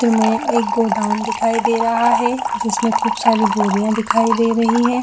> में गोडाउन दिखाई दे रहा है जिसमे खूब सारी बोरियाँ दिखाई दे रही है।